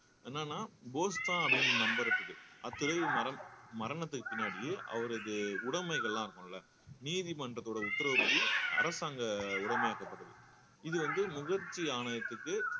என்னன்னா போஸ்தான் அப்படின்னு நம்புறதுக்கு அத் துறவி மரம் மரணத்துக்கு பின்னாடியே அவரது உடமைகள்லாம் இருக்கும்ல நீதிமன்றத்தோட உத்தரவுபடி அரசாங்க உடைமையாக்கப்பட்டது இது வந்து முகர்ஜி ஆணையத்துக்கு